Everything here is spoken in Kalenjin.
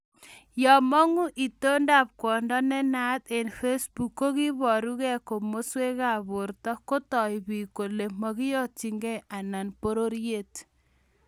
yemong'u itondab kwondo nenaat eng Facebook kokiiborukei komoswekab borto, kotoi biik kole moikonyitigei anan bororyet